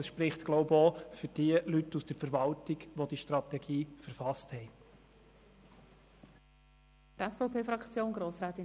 Dies spricht wohl auch für die Leute aus der Verwaltung, die diese Strategie verfasst haben.